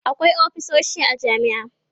akwai ofisoshi a jami'a